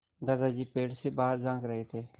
दादाजी पेड़ से बाहर झाँक रहे थे